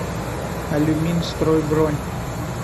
алюминстрой бронь